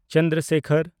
Chandra Sekhar